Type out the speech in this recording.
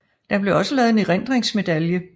Der blev også lavet en erindringsmedalje